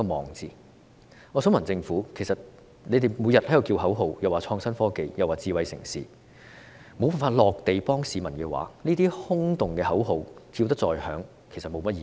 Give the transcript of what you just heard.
我想告訴政府，其實你們每天在叫口號，倡議創新科技、智慧城市，但如無法實在地幫助市民的話，這些空洞的口號叫得再響亮亦沒甚麼意義。